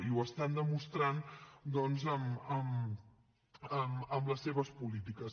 i ho estan demostrant doncs amb les seves polítiques